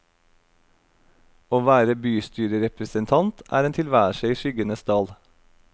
Å være bystyrerepresentant er en tilværelse i skyggenes dal.